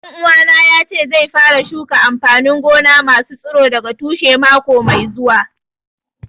Ɗan uwana ya ce zai fara shuka amfanin gona ma su tsiro daga tushe mako mai zuwa